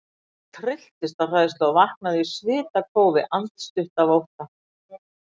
Ég trylltist af hræðslu og vaknaði í svitakófi, andstutt af ótta.